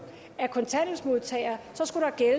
af kontanthjælpsmodtagere